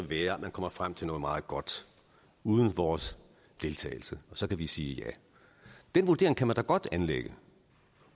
være at man kommer frem til noget meget godt uden vores deltagelse og så kan vi sige ja den vurdering kan man da godt anlægge